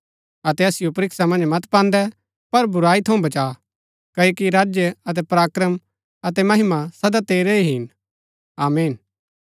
अतै असिओ परीक्षा मन्ज मत पान्दै पर बुराई थऊँ बचा क्ओकि राज्य अतै पराक्रम अतै महिमा सदा तेरै ही हिन आमीन